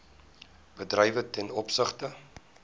bedrywe ten opsigte